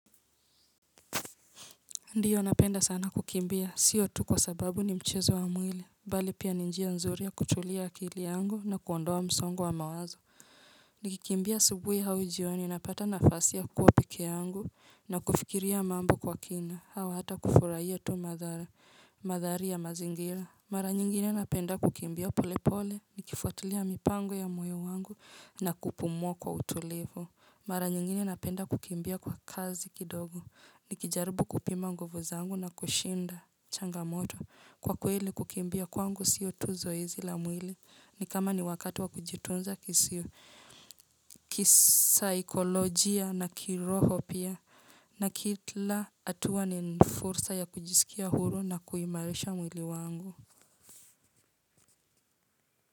Ndiyo napenda sana kukimbia. Siyo tu kwa sababu ni mchezo wa mwili. Bali pia ni njia nzuri ya kutulia akili yangu na kuondoa msongo wa mawazo. Nikikimbia asubuhi au jioni napata nafasi ya kua peke yangu na kufikiria mambo kwa kina. Au hata kufurahia tu madhara, madhari ya mazingira. Mara nyingine napenda kukimbia pole pole. Nikifuatulia mipango ya moyo wangu na kupumua kwa utulivu. Mara nyingine napenda kukimbia kwa kasi kidogo. Ni kijaribu kupima nguvu zangu na kushinda changamoto kwa kweli kukimbia kwangu siyo tu zoezi la mwili ni kama ni wakati wa kujitunza kisiyo kisaikolojia na kiroho pia na kila hatua ni fursa ya kujisikia huru na kuimarisha mwili wangu.